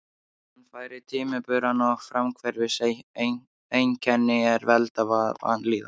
Hann fær timburmenn og fráhvarfseinkenni er valda vanlíðan.